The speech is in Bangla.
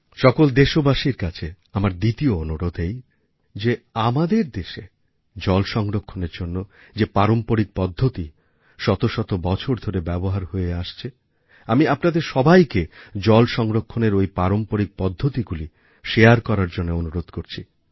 সকল দেশবাসীর কাছে আমার দ্বিতীয় অনুরোধ এই যে আমাদের দেশে জল সংরক্ষণের জন্য যে পারম্পরিক পদ্ধতি শত শত বছর ধরে ব্যবহার হয়ে আসছে আমি আপনাদের সবাইকে জল সংরক্ষণের ওই পারম্পরিক পদ্ধতিগুলি শারে করার জন্য অনুরোধ করছি